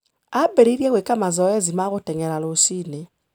Aambĩrĩirie gwĩka mazoezi ma gũteng'era rũcinĩ.